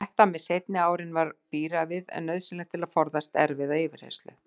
Og þetta með seinni árin var bíræfið en nauðsynlegt til að forðast erfiða yfirheyrslu.